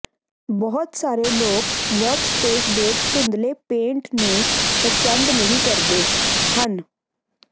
ਬਹੁਤ ਸਾਰੇ ਲੋਕ ਵਰਕਸਪੇਸ ਦੇ ਧੁੰਦਲੇ ਪੇਂਟ ਨੂੰ ਪਸੰਦ ਨਹੀਂ ਕਰਦੇ ਹਨ